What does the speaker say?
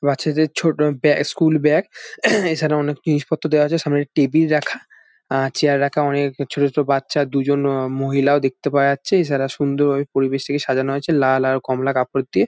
বাচ্চাদের ছোট ব্যা স্কুল ব্যাগ । এছাড়া অনেক জিনিস পত্র দেওয়া আছে। সামনে অনেক টেবিল রাখা আ চেয়ার রাখা। অনেক ছোট ছোট বাচ্চা দুজন মহিলাও দেখতে পাওয়া যাচ্ছে। এছাড়া সুন্দর ওই পরিবেশ টিকে সাজানো হয়েছে লাল ও কমলা কাপড় দিয়ে।